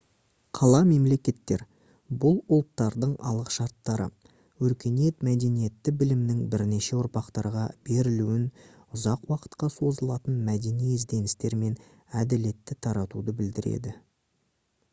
қала-мемлекеттер бұл ұлттардың алғышарттары өркениет мәдениеті білімнің бірнеше ұрпақтарға берілуін ұзақ уақытқа созылатын мәдени ізденістер мен әділетті таратуды білдіреді